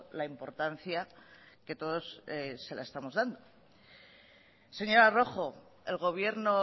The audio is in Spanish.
la importancia que todos se la estamos dando señora rojo el gobierno